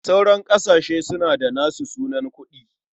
Sauran ƙasashe suna da nasu sunan kuɗi.